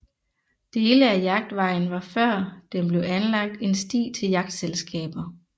Dele af Jagtvejen var før den blev anlagt en sti til jagtselskaber